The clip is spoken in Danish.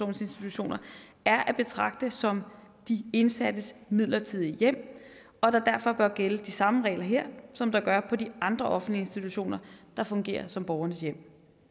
institutioner er at betragte som de indsattes midlertidige hjem og at der derfor bør gælde de samme regler her som der gør på de andre offentlige institutioner der fungerer som borgernes hjem